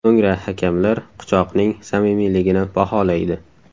So‘ngra hakamlar quchoqning samimiyligini baholaydi.